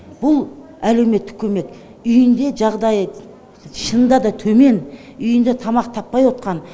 бұл әлеуметтік көмек үйінде жағдайы шынында да төмен үйінде тамақ таппай отқан